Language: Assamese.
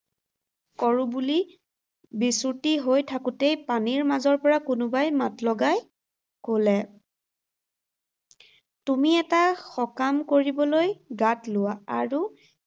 কৰো বুলি বিচুৰ্ত্তি হৈ থাকোতেই পানীৰ মাজৰ পৰা কোনোবাই মাত লগাই ক’লে, তুমি এটা সকাম কৰিবলৈ গাত লোৱা আৰু